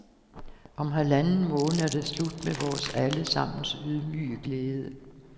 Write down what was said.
Om halvanden måned er det slut med vores alle sammens ydmyge glæde.